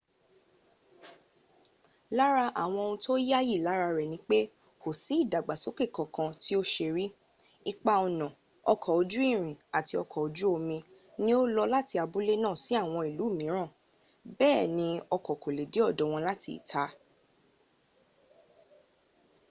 lára àwọn ohun tó yáyì lára rẹ̀ ni pé kò sí ìdàgbàsókè kan tí ó ṣe rí ipa ọ̀nà ọkọ̀ ojú irin àti ọkọ orí omi ni ó lọ láti abúlé náà sí àwọn ìú mìíràn bẹ́ẹ̀ ni ọkọ̀ kò lè dé ọ̀dọ̀ wọn láti ìta